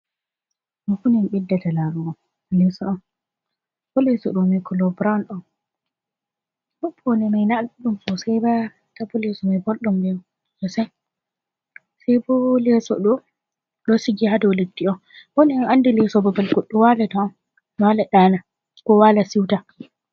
Ɗoo fu min ɓeddata laarugo, leeso on. Bo leeso ɗoo may "kolo burawn" on. Bo pawne may naa ɗuɗɗum soosay ba. ta ................... sey boo leeso ɗoo, ɗon sigi ha dow leddi on. Bo min anndi leeso babal goɗɗo waalata on, waala ɗaana koo waala siwta.